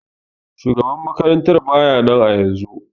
Shugaban makarantan baya nan ayaunzun.